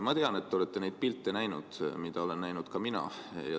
Ma tean, et te olete näinud neid pilte, mida olen näinud ka mina.